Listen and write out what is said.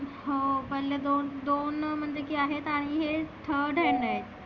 हो पहिले दोन दोन म्हणलं की आहेत आणि हे third hand आहे.